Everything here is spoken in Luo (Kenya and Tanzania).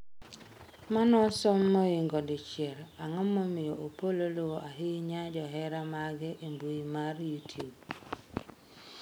manosom moingo dichiel ang'o momiyo Opollo luwo ahinya johera mage e mbui mar youtube?